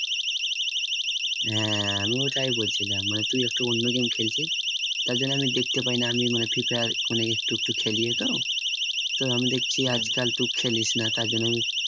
হ্যাঁ আমি ওটাই বলছিলাম মানে তুই একটু অন্য game খেলছিস তার জন্য আমি দেখতে পাই না আমি মানে free fire মানে একটু একটু খেলি তো তো আমি দেখছি আজকাল তুই খেলিস না তার জন্য আমি